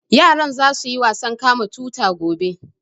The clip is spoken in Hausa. Yaran za su yi wasan kama tuta gobe